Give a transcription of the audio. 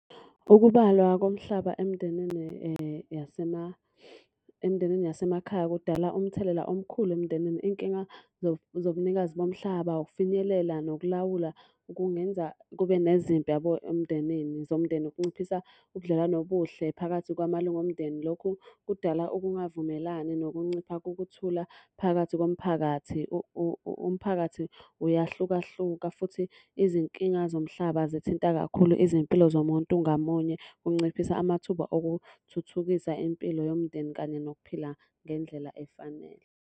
Ukubalwa komhlaba emndenini emindenini yasemakhaya kudala umthelela omkhulu emndenini. Iy'nkinga zobunikazi bomhlaba, ukufinyelela, nokulawula kungenza kube nezimpi yabo emndenini zomndeni kunciphisa ubudlelwano obuhle phakathi kwamalunga omndeni. Lokhu kudala ukungavumelani nokuncipha kokuthula phakathi komphakathi. Umphakathi uyahlukahluka futhi izinkinga zomhlaba zithinta kakhulu izimpilo zomuntu ngamunye. Kunciphisa amathuba okuthuthukisa impilo yomndeni kanye nokuphila ngendlela efanele.